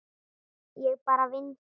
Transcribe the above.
Ég bara vinn hér.